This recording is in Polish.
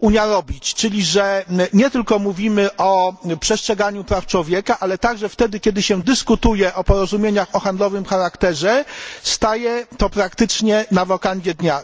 Unia robić, czyli że nie tylko mówimy o przestrzeganiu praw człowieka, ale także wtedy, kiedy się dyskutuje o porozumieniach o charakterze handlowym, staje to praktycznie na wokandzie dnia.